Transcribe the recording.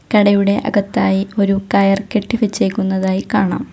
കടയുടെ അകത്തായി ഒരു കയർ കെട്ടി വെച്ചേക്കുന്നതായി കാണാം.